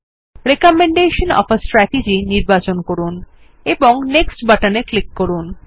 recommendation of a strategy নির্বাচন করুন এবং নেক্সট বাটনে ক্লিক করুন